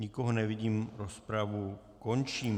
Nikoho nevidím, rozpravu končím.